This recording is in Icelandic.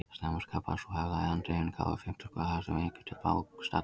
Snemma skapaðist sú hefð að landeigendur gáfu fimmtung af þessum eggjum til bágstaddra.